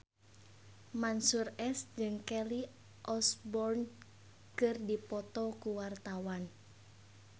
Mansyur S jeung Kelly Osbourne keur dipoto ku wartawan